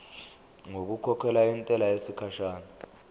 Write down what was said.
ngokukhokhela intela yesikhashana